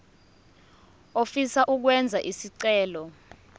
ofisa ukwenza isicelo